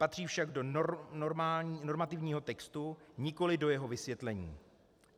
Patří však do normativního textu, nikoli do jeho vysvětlení.